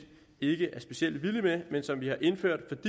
ikke er specielt vilde med men som vi har indført